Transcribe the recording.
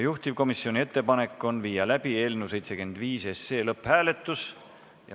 Juhtivkomisjoni ettepanek on viia läbi eelnõu 75 lõpphääletus.